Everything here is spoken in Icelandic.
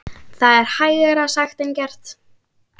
Það er hægara sagt en gert.